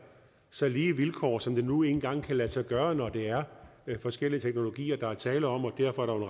så lige vilkår som det nu engang kan lade sig gøre når det er forskellige teknologier der er tale om og derfor er